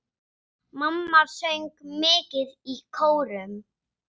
Mamma söng mikið í kórum.